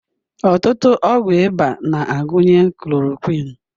Ọtụtụ ọgwụ ịba na-agụnye chloroquine.